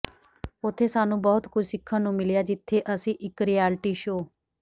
ਉਥੇ ਸਾਨੂੰ ਬਹੁਤ ਕੁਝ ਸਿੱਖਣ ਨੂੰ ਮਿਲਿਆ ਜਿੱਥੇ ਅਸੀਂ ਇੱਕ ਰਿਆਲਟੀ ਸ਼ੋਅ